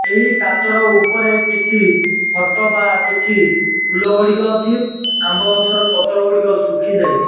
ଏହି କାଚର ଉପରେ କିଛି ଫୋଟୋ ବା କିଛି ଫୁଲ ଗଡ଼ିକ ଅଛି ଆମ୍ବ ଗଛର ପତ୍ର ଗୁଡ଼ିକ ଶୁଖିଯାଇଛି।